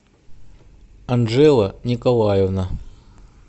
анжела николаевна